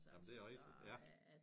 Jamen det er rigtigt